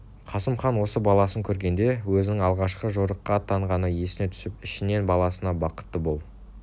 қасым хан осы баласын көргенде өзінің алғашқы жорыққа аттанғаны есіне түсіп ішінен баласына бақытты бол